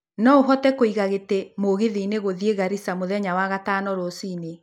no ũhote kũiga gĩtĩ mũgithi-inĩ gũthiĩ garisaa mũthenya wa gatano rũcinĩ